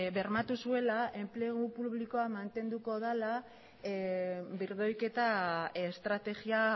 bermatu zuela enplegu publikoa mantenduko dela birdoiketa estrategia